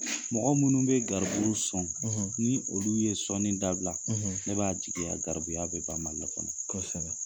Mɔgɔ minnu bɛ garibu sɔn ni olu ye sɔɔni dabila ne b'a jigiya garibuya bɛ banMALI kɔnɔ.